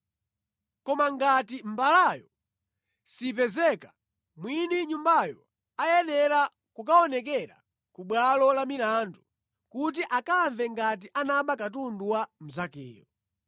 Koma ngati mbalayo sipezeka, mwini nyumbayo ayenera kukaonekera ku bwalo lamilandu kuti akamve ngati anaba katundu wa mnzakeyo.